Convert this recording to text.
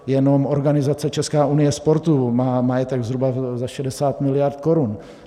Jenom organizace Česká unie sportu má majetek zhruba za 60 miliard korun.